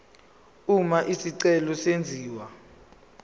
uma isicelo senziwa